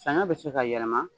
Saɲɔ bɛ se ka yɛlɛma